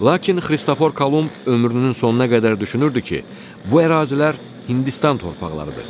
Lakin Xristofor Kolumb ömrünün sonuna qədər düşünürdü ki, bu ərazilər Hindistan torpaqlarıdır.